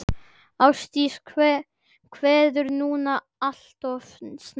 Ástdís kveður núna alltof snemma.